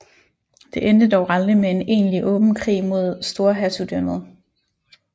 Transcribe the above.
Det endte dog aldrig med en egentlig åben krig mod Storhertugdømmet